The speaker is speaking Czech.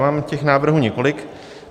Mám těch návrhů několik.